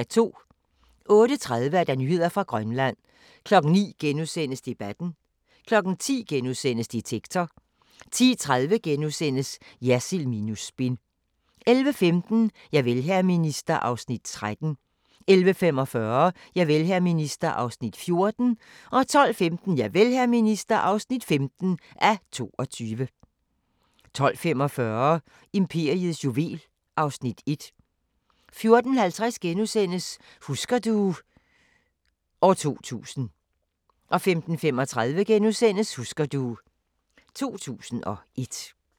08:30: Nyheder fra Grønland 09:00: Debatten * 10:00: Detektor * 10:30: Jersild minus spin * 11:15: Javel, hr. minister (13:22) 11:45: Javel, hr. minister (14:22) 12:15: Javel, hr. minister (15:22) 12:45: Imperiets juvel (Afs. 1) 14:50: Husker du ... 2000 * 15:35: Husker du ... 2001 *